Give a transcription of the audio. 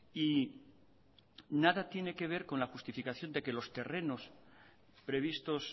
y nada tiene que ver con la justificación de que los terrenos previstos